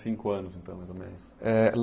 Cinco anos, então, mais ou menos. Eh